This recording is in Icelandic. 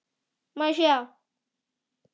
Má ég sjá?